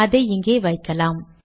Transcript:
அதை இங்கே வைக்கலாம்